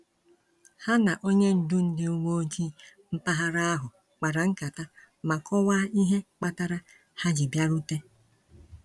Ha na onye ndu ndị uwe ojii mpaghara ahụ kpara nkata ma kọwaa ihe kpatara ha ji bịarute.